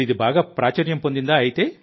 ఇప్పుడు ఇది బాగా ప్రాచుర్యం పొందింది